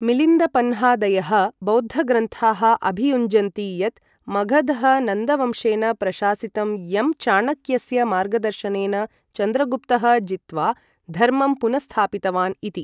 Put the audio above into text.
मिलिन्दपन्हादयः बौद्ध ग्रन्थाः अभियुञ्जन्ति यत् मगधः नन्दवंशेन प्रशासितं, यं, चाणक्यस्य मार्गदर्शनेन, चन्द्रगुप्तः जित्वा धर्मं पुनःस्थापितवान् इति।